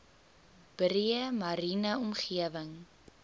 breë mariene omgewing